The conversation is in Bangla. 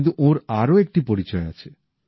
কিন্তু ওঁর আরও একটি পরিচয় আছে